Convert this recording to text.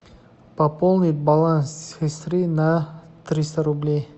пополнить баланс сестры на триста рублей